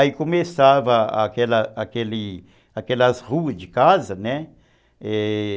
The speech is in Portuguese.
Aí começava aquela aquelas ruas de casa, né, é...